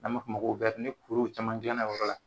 An b'a fo ma wɛri ni kuruw caman ni kuruw caman gila o yɔrɔ la